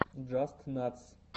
джастнатс